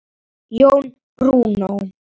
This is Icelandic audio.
Jón Bruno.